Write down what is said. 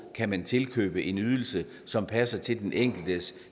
kan man tilkøbe en ydelse som passer til den enkeltes